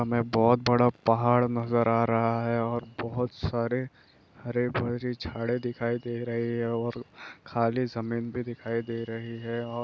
हमे बोहोत बडा पहाड़ नजर आ रहा हे ओर बोहोत सारे हरे-भरे जाडे दिखाई दे रहे हे और खाली समेधरी दिखाई दे रही हे और--